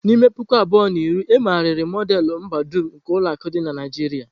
N'ime puku abụọ na iri, e megharịrị Modelu mbadum nke ulo akụ di na Naijiria.